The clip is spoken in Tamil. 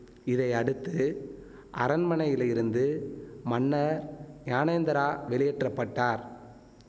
இதை அடுத்து அரண்மனையிலிருந்து மன்னர் ஞானேந்திரா வெளியேற்ற பட்டார்